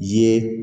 Ye